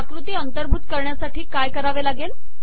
आकृती अंतर्भूत करण्यासाठी काय करावे लागेल